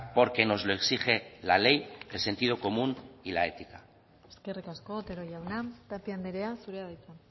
porque nos lo exige la ley el sentido común y la ética eskerrik asko otero jauna tapia andrea zurea da hitza